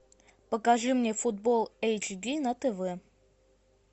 покажи мне футбол эйч ди на тв